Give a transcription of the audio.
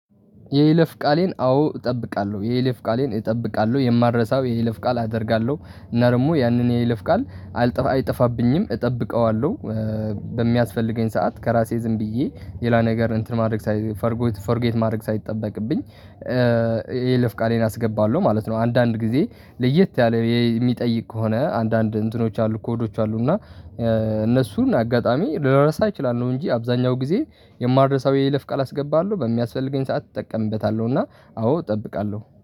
የይለፍ ቃሌን አዎ እጠብቃለሁ የይለፍ ቃሌን እጠብቃለሁ የማልረሳው የይለፍ ቃል አደርጋለሁ እና ደግሞ ያንን የይለፍ ቃል አልጠፋ አይጠፋብኝም እጠብቀዋለሁ። በሚያስፈልገኝ ሰዓት ከራሴ ዝም ብዬ ሌላ ነገር እንትን ማድረግ ሳይ ፎርጌት ማድረግ ሳይጠበቅብኝ የይለፍ ቃሌን አስገባለሁ ማለት ነው። አንዳንድ ጊዜ ለየት ያለ የሚጠይቅ ከሆነ አንዳንድ እንትኖች አሉ ኮዶች አሉ እና እነሱን አጋጣሚ ልረሳ እችላለሁ። እንጂ አብዛኛው ጊዜ የማልረሳው የይለፍ ቃል አስገባለሁ በሚያስፈልገኝ ሰዓት እጠቀምበታለሁ። እና አዎ እጠብቃለሁ